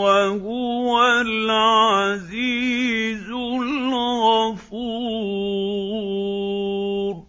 وَهُوَ الْعَزِيزُ الْغَفُورُ